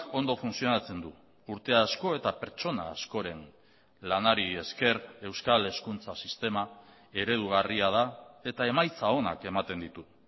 ondo funtzionatzen du urte asko eta pertsona askoren lanari esker euskal hezkuntza sistema eredugarria da eta emaitza onak ematen ditu